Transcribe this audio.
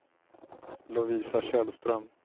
Lovisa Källström